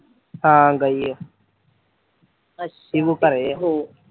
ਹਾਂ ਗਈ ਐ ਸੀਮੋ ਘਰੇ ਐ